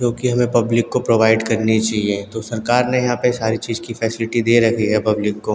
जो की हमें पब्लिक को प्रोवाइड करनी चाहिए तो सरकार ने यहाँ पे सारी चीज की फैसिलिटी दे रखी है पब्लिक को।